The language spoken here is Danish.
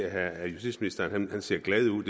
at justitsministeren ser glad ud